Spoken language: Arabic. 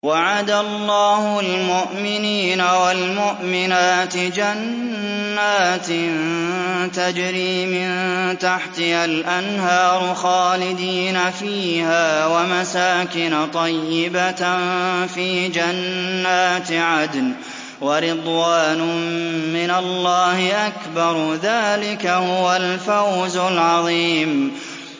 وَعَدَ اللَّهُ الْمُؤْمِنِينَ وَالْمُؤْمِنَاتِ جَنَّاتٍ تَجْرِي مِن تَحْتِهَا الْأَنْهَارُ خَالِدِينَ فِيهَا وَمَسَاكِنَ طَيِّبَةً فِي جَنَّاتِ عَدْنٍ ۚ وَرِضْوَانٌ مِّنَ اللَّهِ أَكْبَرُ ۚ ذَٰلِكَ هُوَ الْفَوْزُ الْعَظِيمُ